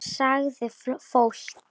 Sagði fólk.